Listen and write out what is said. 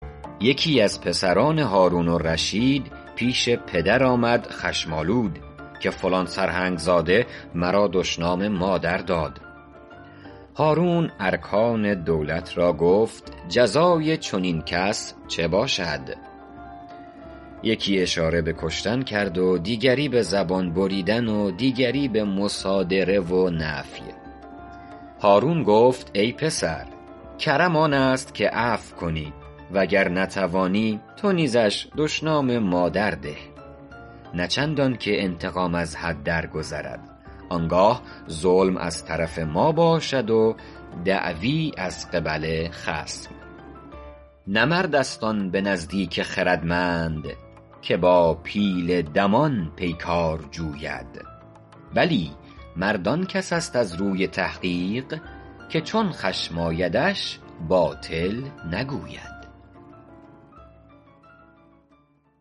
یکی از پسران هارون الرشید پیش پدر آمد خشم آلود که فلان سرهنگ زاده مرا دشنام مادر داد هارون ارکان دولت را گفت جزای چنین کس چه باشد یکی اشاره به کشتن کرد و دیگری به زبان بریدن و دیگری به مصادره و نفی هارون گفت ای پسر کرم آن است که عفو کنی و گر نتوانی تو نیزش دشنام مادر ده نه چندان که انتقام از حد درگذرد آن گاه ظلم از طرف ما باشد و دعوی از قبل خصم نه مرد است آن به نزدیک خردمند که با پیل دمان پیکار جوید بلی مرد آن کس است از روی تحقیق که چون خشم آیدش باطل نگوید